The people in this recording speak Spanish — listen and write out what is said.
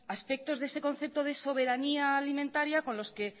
aspectos de este concepto de soberanía alimentaria con los que